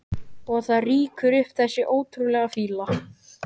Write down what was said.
Og það rýkur upp þessi ógurlega fýla.